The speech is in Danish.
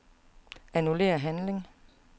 Annullér handling.